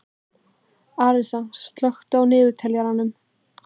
Arisa, slökktu á niðurteljaranum.